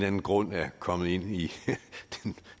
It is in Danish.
anden grund er kommet ind i